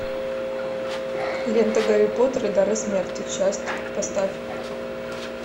лента гарри поттер и дары смерти часть поставь